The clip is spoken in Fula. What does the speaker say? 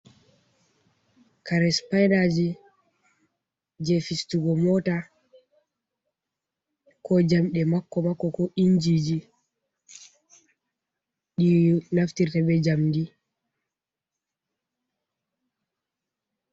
Kare sipainaji je fistugo mota, ko jamɗe makko makko ko inji ji ɗi naftirte bee Jamndi.